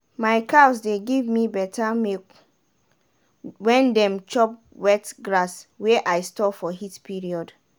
my cows dey give me beta milk wen dem chop wet grass wey i store for heat period.